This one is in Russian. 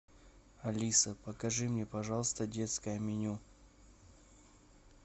алиса покажи мне пожалуйста детское меню